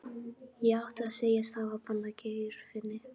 Ég átti að segjast hafa banað Geirfinni.